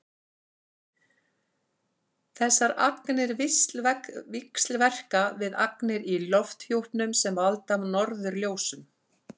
þessar agnir víxlverka við agnir í lofthjúpnum sem valda norðurljósum